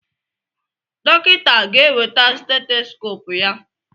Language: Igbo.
Dọkịta ga-eweta steteskoopu ya.